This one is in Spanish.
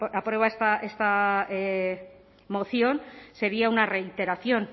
aprueba esta moción sería una reiteración